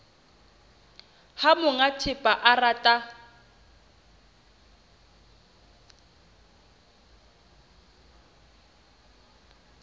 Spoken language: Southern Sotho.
ha monga thepa a rata